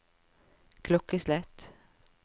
klokkeslett